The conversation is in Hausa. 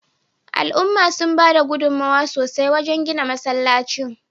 Al'umma sun bada gudunmawa sosai wajen gina masallacin